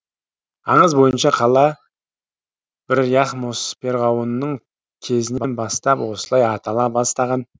аңыз бойынша қала бір яхмос перғауынның кезінен бастап осылай атала бастаған